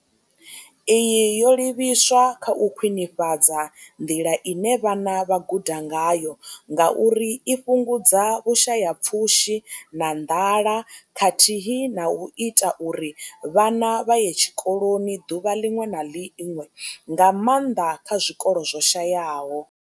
Iyi yo livhiswa kha u khwinifhadza nḓila ine vhana vha guda ngayo ngauri i fhungudza vhushayapfushi na nḓala khathihi na u ita uri vhana vha ye tshikoloni ḓuvha ḽiṅwe na ḽiṅwe, nga maanḓa kha zwikolo zwo shayaho.